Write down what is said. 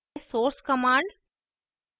source command